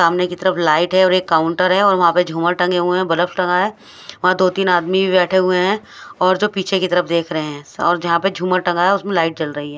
सामने की तरफ एक लाइट है और एक काउंटर है और वहा पर जुमर टंगे हुए है और बल्ब टंगा है वहा दो तीन आदमी भी बेठे हुए है और जो पीछे की तरफ देख रहे है और जहा पर जुमर टंगा है उसमे लाइट जल रही है।